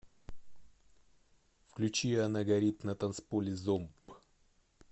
включи она горит на танцполе зомб